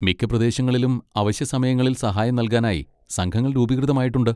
മിക്ക പ്രദേശങ്ങളിലും അവശ്യ സമയങ്ങളിൽ സഹായം നൽകാനായി സംഘങ്ങൾ രൂപീകൃതമായിട്ടുണ്ട്.